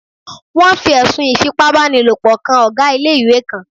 Wọ́n fi ẹ̀sùn Ìfipábánilòpọ̀ kan Ọ̀gá ilé-ìwé kan